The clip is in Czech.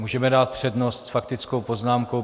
Můžeme dát přednost s faktickou poznámkou.